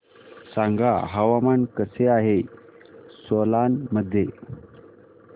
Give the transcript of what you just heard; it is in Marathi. सांगा हवामान कसे आहे सोलान मध्ये